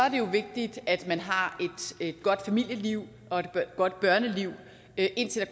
jo vigtigt at man har et godt familieliv og et godt børneliv indtil